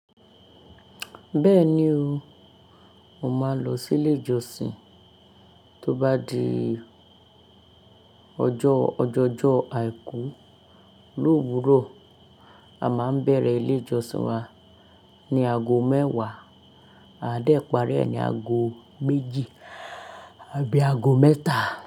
Bẹ́ẹ̀ni o, mo máa ń lọ sí ilé ìjọsìn. Tó bá di ọjọ́, ọjọjọ́ àìkú lówurọ̀, a máa ń bẹ̀rẹ̀ ilé ìjọsìn wa ni ago mẹ́wàá, a dẹ parí ẹ̀ ni ago méjì tàbí ago mẹ́ta.